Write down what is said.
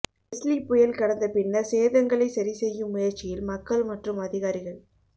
Leslie புயல் கடந்த பின்னர் சேதங்களை சரிசெய்யும் முயற்சியில் மக்கள் மற்றும் அதிகாரிகள்